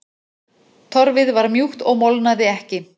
Torfið var mjúkt og molnaði ekki.